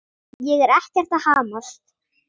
Ég er ekkert að hamast.